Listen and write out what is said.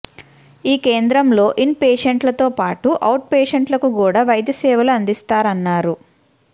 ఈ కేంద్రంలో ఇన్ పేషేంట్ల తో పాటు ఔట్ పేషేంట్లకు కుడా వైద్యసేవలు అందిస్తారన్నారు